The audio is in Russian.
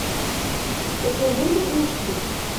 покажи лягушки